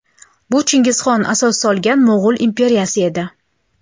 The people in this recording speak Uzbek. Bu Chingizxon asos solgan mo‘g‘ul imperiyasi edi.